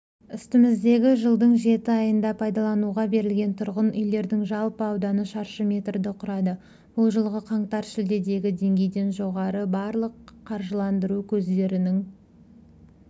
үстіміздегі жылдың жеті айында пайдалануға берілген тұрғын үйлердің жалпы ауданы шаршы метрді құрады бұл жылғы қаңтар-шілдедегі деңгейден жоғары барлық қаржыландыру көздерінің